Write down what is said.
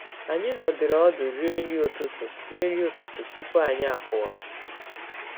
Anyị nọdụrụ ọdụ rie nri ụtụtụ rie nri ụtụtụ tupu anyị apụwa